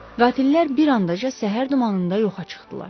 Qatillər bir anda səhər dumanında yoxa çıxdılar.